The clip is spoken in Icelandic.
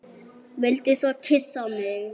Vildi svo kyssa mig.